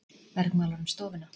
Bergmálar um stofuna.